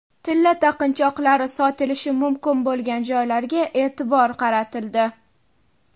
Tilla taqinchoqlari sotilishi mumkin bo‘lgan joylarga e’tibor qaratildi.